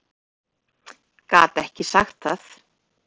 Gat ekki sagt það.